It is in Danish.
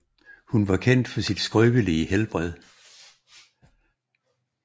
Hun var kendt for sit skrøbelige helbred